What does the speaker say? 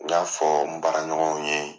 N k'a fɔ n baaraɲɔgɔnw ye.